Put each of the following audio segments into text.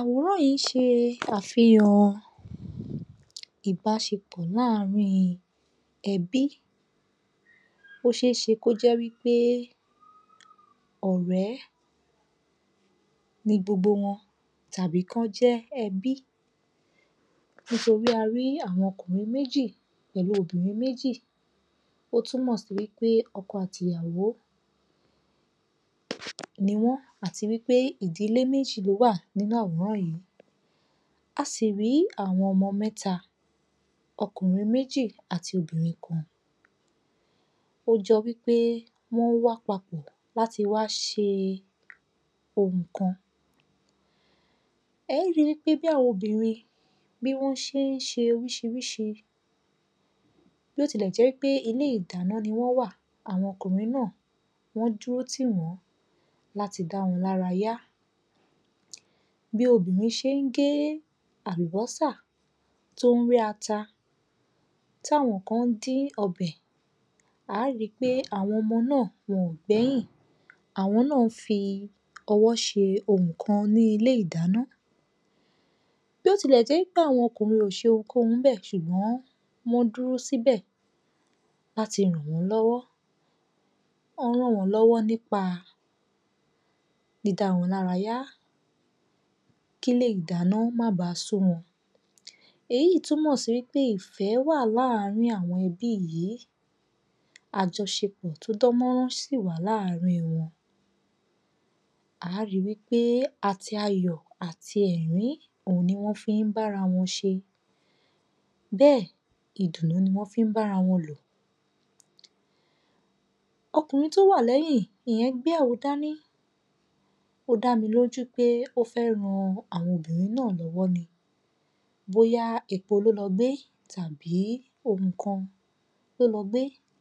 Àwòrán yìí n se àfihàn ìbáṣepọ̀ láàrín ẹbí o ṣeéṣe ko jẹ́ wípé òré ni gbogbo wọn tàbí ki wọn jẹ ẹbí, nítorí a ri áwọn ọkùnrin méjì pẹ̀lú obìrin méjì,o tumọ si wípé ọkọ àti ìyàwó niwọn àti wípé ìdílè méjì lo wa nínú àwòrán yìí,a sì ri àwọn ọmọ mẹta okùnrin méjì àti obìnrin kan,o jẹ wí pé wọn wa papọ̀ lati wa ṣe ohùn kan,e ri wípé bi àwon obìrin bi wọn se n se orisirisi, bi o tilẹ jẹ pẹ ile ìdáná ni wọn wa, àwọn ọkùnrin na dúró ti wọn láti da wọn lara ya, bi obirin se n he àlùbósà ti o n rẹ ata, ti àwọn kan n din ọbẹ, àwọn ọmọ naa wọn o gbẹyin àwọn naa n fọwọ se ohùn kàn ni ilè ìdáná ni ilè ìdáná, bi o ti jẹ pe àwọn ọkùnrin o se ohunkohun níbẹ̀ ṣùgbọ́n wọn dúró sibẹ̀ láti ràn wọ́n lọ́wọ́, wọ́n ràn wọ́n lọ́wọ́ nípa dídá wọn lára yá, kílé ìdáná má ba sú wọn, èyí yìí túnmọ̀ sí pé ìfẹ́ wà láàrín àwọn ẹbí yìí, àjọṣepọ̀ tó dán mọ́rán sì wà láàrín wọn. A ríi wípé àti ayọ̀ àti ẹ̀rín ni wọ́n fi ń bára wọn ṣe, bẹ́ẹ̀ ìdùnnú ni wọ́n fi ń bára wọn lò, ọkùnrin tó wà lẹ́yìn ìyẹn gbé àwo dání, o damiloju pe o fẹ ran àwọn obìrin náà lọwọ ni, bóyá epo lo lọ gbe tàbí ohùn kan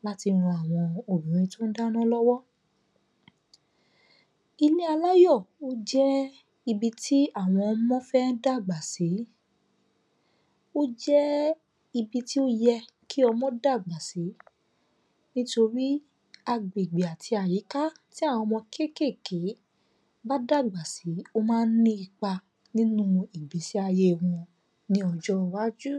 láti ran àwọn obìrin to ń dáná lọ́wọ́. Ilé aláyọ̀ jẹ́ ibì tí àwọn ọmọ fẹ́ dàgbà sii, ó jẹ́ ibì tí ó yẹ kí ọmọ́ dàgbà sí, nítorí agbègbè tàbí àyíká tí àwọn ọmọ́ bá dàgbà sí ma ń ní ipa nínu ìgbésí ayé ọmọ ní ọjọ́ iwájú.